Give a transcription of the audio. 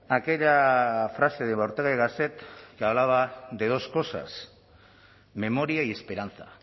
a aquella frase de ortega y gasset que hablaba de dos cosas memoria y esperanza